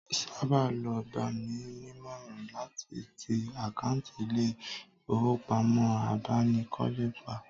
Saba ló gbà mí nímọ̀ràn láti tì àkáǹt ilè ifowopamo abánikọ́lé pa